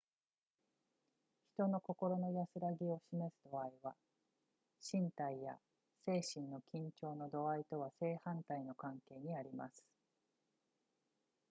人の心の安らぎを示す度合いは身体や精神の緊張の度合いとは正反対の関係にあります